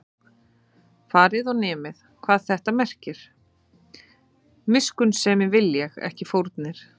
Farið og nemið, hvað þetta merkir: Miskunnsemi vil ég, ekki fórnir